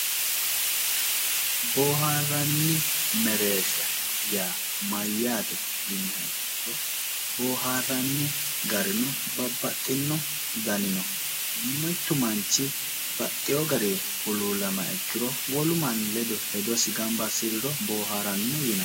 Boohaarranni mereersha yaa mayyaate yiniha ikkiro boohaarranni garino babbaxxino danino mittu manchi baxxeyo garii huluullamaaha ikkiro wolu manni ledo hedosi gamba assiriro boohaaranno yinanni